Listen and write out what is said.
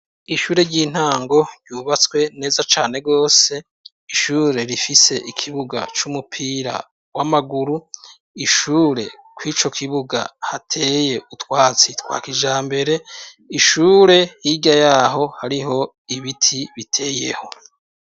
Ishure ry'intango ryubatswe neza cane rwose. Ishure rifise ikibuga c'umupira w'amaguru. Ishure kw'ico kibuga hateye utwatsi twa kijambere ishure hirya yaho hariho ibiti biteyeho.